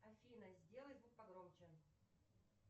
афина сделай звук погромче